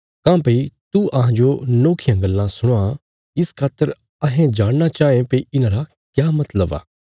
काँह्भई तू अहांजो नोखियां गल्लां सुणावां इस खातर अहें जाणना चाँये भई इन्हांरा क्या मतलब आ